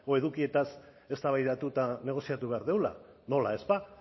edukietaz eztabaidatu eta negoziatu behar dugula nola ez ba